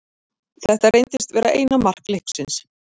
Þetta reyndist vera eina mark leiksins.